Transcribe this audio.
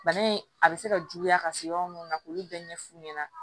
Bana in a bɛ se ka juguya ka se yɔrɔ minnu ma k'olu bɛɛ ɲɛfu ɲɛna